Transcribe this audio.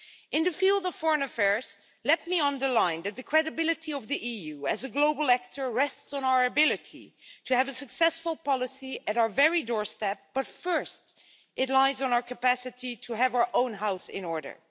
In the field of foreign affairs, let me underline that the credibility of the EU as a global actor rests on our ability to have a successful policy at our very doorstep, but first it relies on our capacity to have our own house in order.